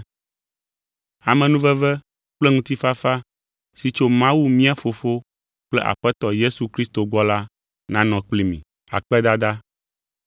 Amenuveve kple ŋutifafa si tso Mawu mía Fofo kple Aƒetɔ Yesu Kristo gbɔ la nanɔ kpli mi.